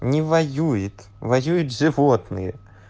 не воюет воюет животные